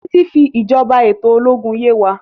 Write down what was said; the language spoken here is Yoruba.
Titi fi ìjọba eto ológun yè wá.